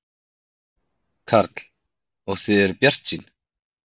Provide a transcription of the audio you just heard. Karl: Og þið eruð bjartsýn?